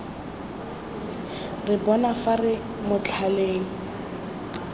re bona fa re motlhaleng